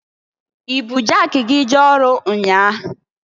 I bụ jaki gi jee ọrụ nnyaa?